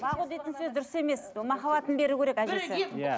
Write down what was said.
бағу дейтін сөз дұрыс емес махаббатын беру керек әжесі иә